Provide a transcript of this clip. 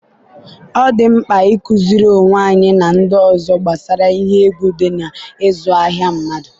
ọ dị mkpa ịkụziri onwe anyị na ndị ọzọ gbasara ihe egwu dị n'ịzụ ahịa mmadụ.